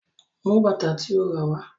Mú bàtà tí o ràwá.